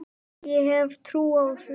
Ég hef trú á því.